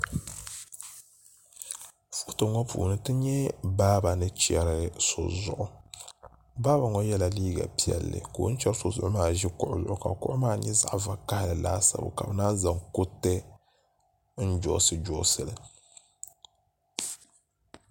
Foto ŋo puuni ti nyɛ baaba ni chɛri so zuɣu baaba ŋo yɛla liiga piɛlli ka o ni chɛri so zuɣu maa ʒi kuɣu zuɣu ka kuɣu maa nyɛ zaɣ vakaɣali laasabu ka bi naan zaŋ kuriti n joosi joosi li